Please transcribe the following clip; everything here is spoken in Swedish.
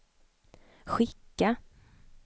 skicka